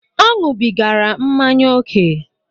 Ọ ñubigara mmanya ókè